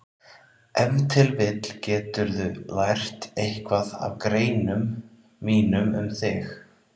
Ef til vill geturðu lært eitthvað af greinum mínum um þig.